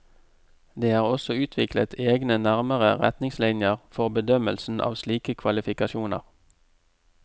Det er også utviklet egne nærmere retningslinjer for bedømmelsen av slike kvalifikasjoner.